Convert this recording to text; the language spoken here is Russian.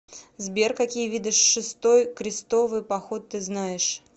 сбер какие виды шестой крестовый поход ты знаешь